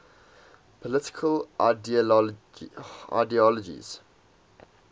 political ideologies